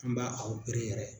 An b'a yɛrɛ.